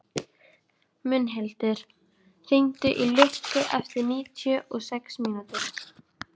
Mundhildur, hringdu í Lukku eftir níutíu og sex mínútur.